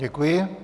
Děkuji.